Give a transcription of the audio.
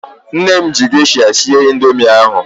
Nne m ji gesha sie indoomị ahu